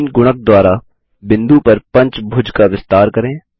3 गुणक द्वारा बिंदु पर पंचभुज का विस्तार करें